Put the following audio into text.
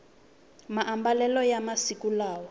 maambalelo ya masiku lawa